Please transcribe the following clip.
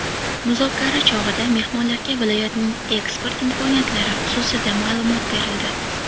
Muzokara chog‘ida mehmonlarga viloyatning eksport imkoniyatlari xususida ma’lumot berildi.